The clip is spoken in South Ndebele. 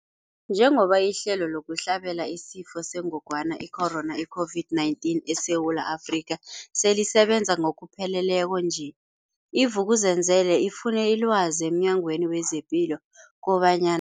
Njengoba ihlelo lokuhlabela isiFo sengogwana i-Corona, i-COVID-19, eSewula Afrika selisebenza ngokupheleleko nje, i-Vuk'uzenzele ifune ilwazi emNyangweni wezePilo kobanyana.